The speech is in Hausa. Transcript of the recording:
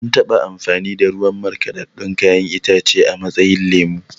An taɓa amfani da ruwan markaɗaɗɗun kayan itace a matsayin lemo